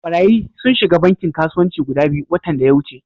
Barayyi sun shiga bankin kasuwanci guda biyu watan daya wuce.